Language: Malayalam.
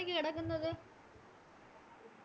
ഒറ്റക്ക് കെടക്കുന്നത്